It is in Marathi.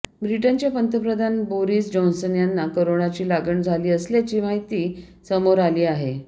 ब्रिटनचे पंतप्रधान बोरिस जॉन्सन यांना कोरोनाची लागण झाली असल्याची माहिती समोर आली आहे